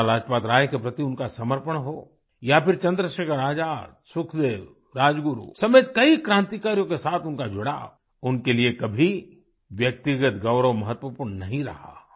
लाला लाजपतराय के प्रति उनका समर्पण हो या फिर चंद्रशेखर आज़ाद सुखदेव राजगुरु समेत क्रांतिकारियों के साथ उनका जुड़ाव उनके लिये कभी व्यक्तिगत गौरव महत्वपूर्ण नहीं रहा